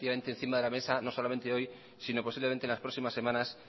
efectivamente encima de la mesa no solamente hoy sino posiblemente en las próximas semanas